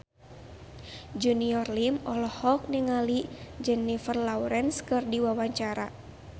Junior Liem olohok ningali Jennifer Lawrence keur diwawancara